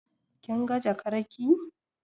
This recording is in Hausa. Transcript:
Kin ga jakar ki?